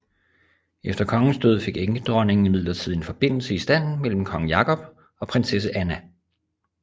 Efter kongens død fik enkedronningen imidlertid en forbindelse i stand mellem kong Jakob og prinsesse Anna